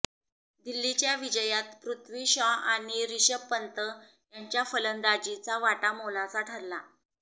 दिल्लीच्या विजयात पृथ्वी शॉ आणि रिषभ पंत यांच्या फलंदाजीचा वाटा मोलाचा ठरला